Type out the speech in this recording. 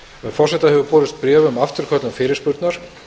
forseta hefur borist bréf um afturköllun fyrirspurnar